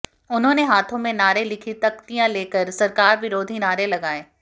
उन्होने हाथों में नारे लिखी तख्तियां लेकर सरकार विरोधी नारे लगाए